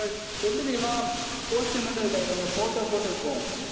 எப்படி தெரியுமா? poster மட்டும் photo போட்டிருக்கும்